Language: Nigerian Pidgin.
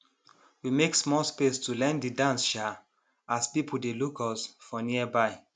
we make small space to learn de dance um as people dey look us for nearby